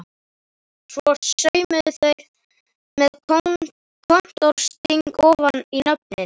Svo saumuðu þær með kontórsting ofan í nöfnin.